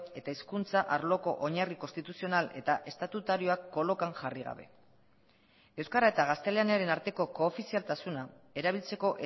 eta hizkuntza arloko oinarri konstituzional eta estatutarioak kolokan jarri gabe euskara eta gaztelaniaren arteko koofizialtasuna erabiltzeko